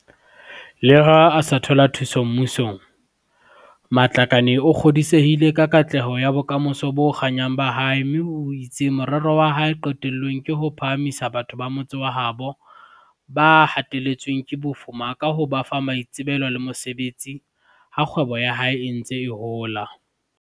Leha a sa thola thuso mmu song, Matlakane o kgodisehile ka katleho ya bokamoso bo kganyang ba hae mme o itse morero wa hae qetellong ke ho phahamisa batho ba motse wa habo ba hateletsweng ke bofu ma ka ho ba fa maitsebelo le mosebetsi, ha kgwebo ya hae e ntse e hola.